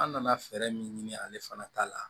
An nana fɛɛrɛ min ɲini ale fana ta la